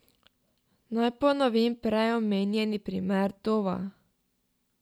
Naj ponovim prej omenjeni primer Dova.